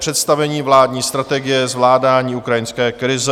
Představení vládní strategie zvládání ukrajinské krize